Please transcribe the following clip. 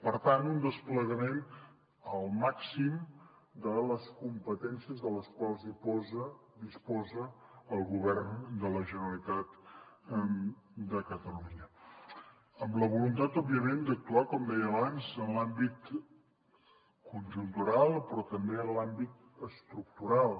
per tant un desplegament al màxim de les competències de les quals disposa el govern de la generalitat de catalunya amb la voluntat òbviament d’actuar com deia abans en l’àmbit conjuntural però també en l’àmbit estructural